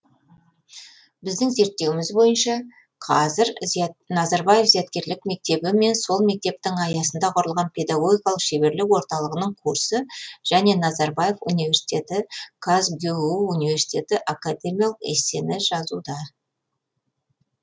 біздің зерттеуіміз бойынша қазір назарбаев зияткерлік мектебі мен сол мектептің аясында құрылған педагогикалық шеберлік орталығының курсы және назарбаев университеті казгюу университеті академиялық эссені жазуда